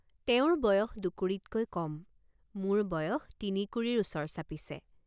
তেওঁৰ বয়স দুকুৰিতকৈ কম মোৰ বয়স তিনিকুৰিৰ ওচৰ চাপিছে।